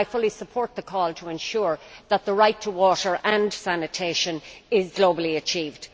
I fully support the call to ensure that the right to water and sanitation is globally achieved.